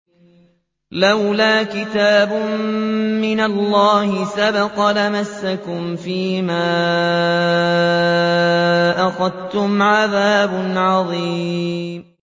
لَّوْلَا كِتَابٌ مِّنَ اللَّهِ سَبَقَ لَمَسَّكُمْ فِيمَا أَخَذْتُمْ عَذَابٌ عَظِيمٌ